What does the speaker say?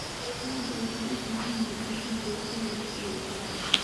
Digaaga waxay u baahan yihiin cunto borotiin leh si ay u koraan.